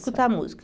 Escutar música.